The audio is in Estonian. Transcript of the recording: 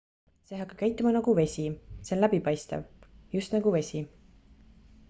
see hakkab käituma nagu vesi see on läbipaistev just nagu vesi